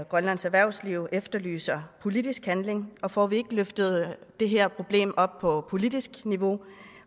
grønlands erhvervsliv efterlyser politisk handling og får vi ikke løftet det her problem op på politisk niveau